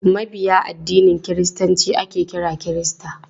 Mabiya addinin kiristanci ake kira kirista.